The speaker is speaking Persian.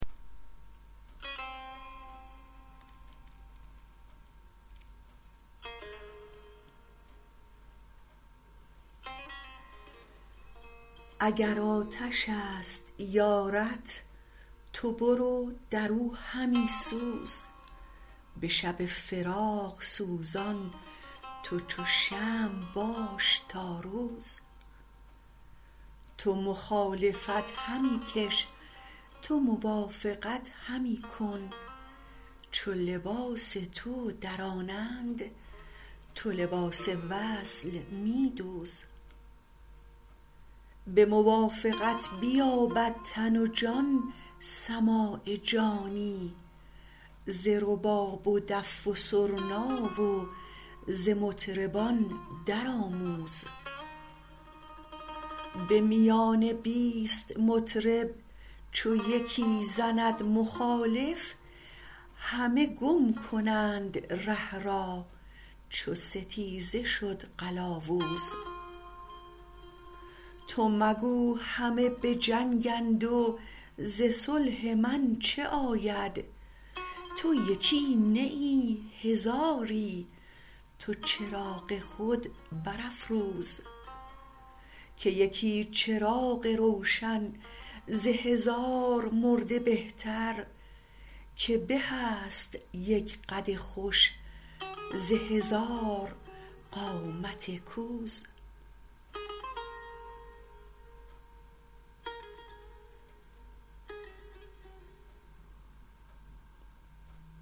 اگر آتش است یارت تو برو در او همی سوز به شب فراق سوزان تو چو شمع باش تا روز تو مخالفت همی کش تو موافقت همی کن چو لباس تو درانند تو لباس وصل می دوز به موافقت بیابد تن و جان سماع جانی ز رباب و دف و سرنا و ز مطربان درآموز به میان بیست مطرب چو یکی زند مخالف همه گم کنند ره را چو ستیزه شد قلاوز تو مگو همه به جنگند و ز صلح من چه آید تو یکی نه ای هزاری تو چراغ خود برافروز که یکی چراغ روشن ز هزار مرده بهتر که به است یک قد خوش ز هزار قامت کوز